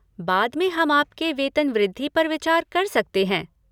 बाद में हम आपके वेतन वृद्धि पर विचार कर सकते हैं।